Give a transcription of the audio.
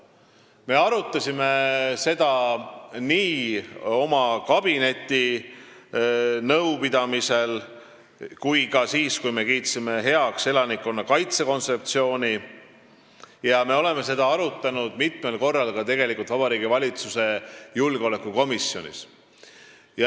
Me arutasime seda oma kabinetinõupidamisel ja ka siis, kui me kiitsime heaks elanikkonnakaitse kontseptsiooni, samuti oleme sellest rääkinud mitmel korral Vabariigi Valitsuse julgeolekukomisjonis.